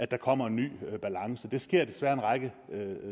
der kommer en ny balance det sker desværre en række